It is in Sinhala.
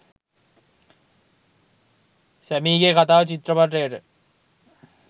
සැමීගේ කතාව චිත්‍රපටයට